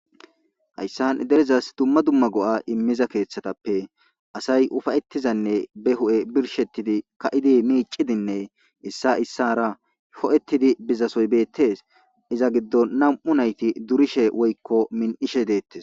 Hayisan derezas duma duma go7a imiza kethatape asayi ufayetizayisane be huphe birish ka7idi micidinee issa issara ho7etidi dizays betes iza gidon na7amu nayiti durishe woyiko mini7ishe detes